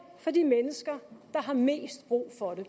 for de mennesker der har mest brug for det